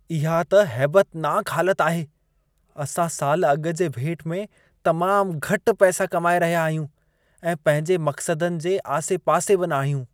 इहा त हैबतनाकु हालत आहे! असां साल अॻु जे भेट में तमामु घटि पैसा कमाए रहिया आहियूं, ऐं पंहिंजे मक़सदनि जे आसे-पासे बि न आहियूं।